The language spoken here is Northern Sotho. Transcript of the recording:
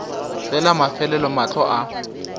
ge la mafelelo mahlo a